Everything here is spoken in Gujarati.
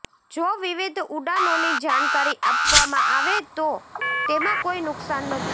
જો વિવિધ ઉડાનોની જાણકારી આપવામાં આવે તો તેમાં કોઇ નુકસાન નથી